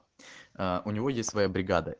э у него есть своя бригада